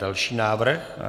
Další návrh.